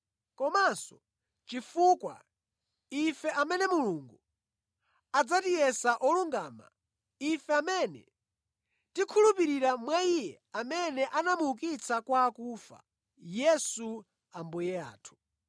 komanso chifukwa ife amene Mulungu adzatiyesa olungama, ife amene tikhulupirira mwa Iye amene anamuukitsa kwa akufa, Yesu Ambuye athu.